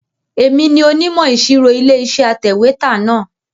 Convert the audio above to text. Èmi ni onímọ̀ ìṣirò Ilé-iṣẹ́ atẹ̀wétà náà.